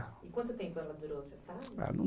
E quanto tempo ela durou, o senhor sabe? Ah